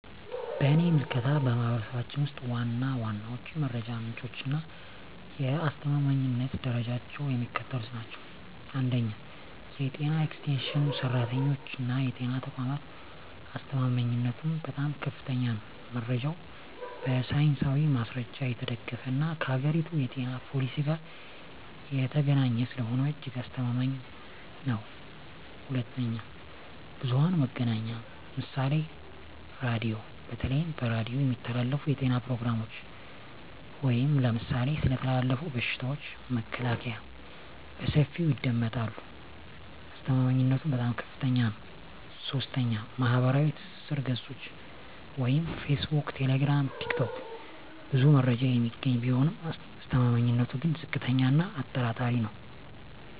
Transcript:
በእኔ ምልከታ፣ በማኅበረሰባችን ውስጥ ዋና ዋናዎቹ የመረጃ ምንጮችና የአስተማማኝነት ደረጃቸው የሚከተሉት ናቸው፦ 1. የጤና ኤክስቴንሽን ሠራተኞችና የጤና ተቋማት አስተማማኝነቱም በጣም ከፍተኛ ነው። መረጃው በሳይንሳዊ ማስረጃ የተደገፈና ከአገሪቱ የጤና ፖሊሲ ጋር የተገናኘ ስለሆነ እጅግ አስተማማኝ ነው። 2. ብዙኃን መገናኛ ምሳሌ ራዲዮ:- በተለይ በሬዲዮ የሚተላለፉ የጤና ፕሮግራሞች (ለምሳሌ ስለ ተላላፊ በሽታዎች መከላከያ) በሰፊው ይደመጣሉ። አስተማማኝነቱም በጣም ከፍታኛ ነው። 3. ማኅበራዊ ትስስር ገጾች (ፌስቡክ፣ ቴሌግራም፣ ቲክቶክ) ብዙ መረጃ የሚገኝ ቢሆንም አስተማማኝነቱ ግን ዝቅተኛ እና አጠራጣሪ ነው።